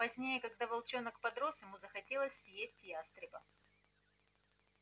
позднее когда волчонок подрос ему захотелось съесть ястреба